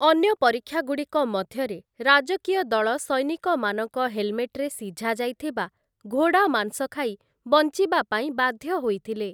ଅନ୍ୟ ପରୀକ୍ଷାଗୁଡ଼ିକ ମଧ୍ୟରେ ରାଜକୀୟ ଦଳ ସୈନିକମାନଙ୍କ ହେଲମେଟ୍‌ରେ ସିଝାଯାଇଥିବା ଘୋଡ଼ା ମାଂସ ଖାଇ ବଞ୍ଚିବାପାଇଁ ବାଧ୍ୟ ହୋଇଥିଲେ ।